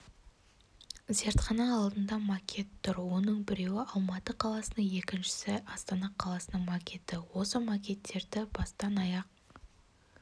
зертхана алдында макет тұр оның біреуі алматы қаласының екіншісі астана қаласының макеті осы макеттерді бастан-аяқ